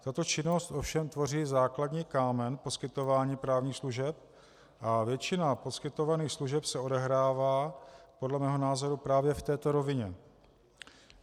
Tato činnost ovšem tvoří základní kámen poskytování právních služeb a většina poskytovaných služeb se odehrává podle mého názoru právě v této rovině.